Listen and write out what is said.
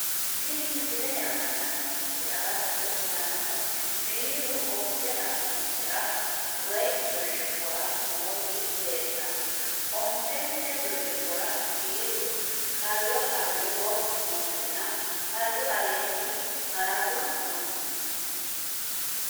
Tini misilete aana la`neemoti agatto yaano biiru onte xarmuuzera woyi birciqora nooti leeltano ontente birciqora biiru halo haloho nootinna halu aleeni harafu no.